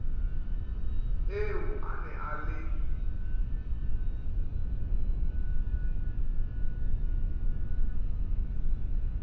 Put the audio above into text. eo a ne a le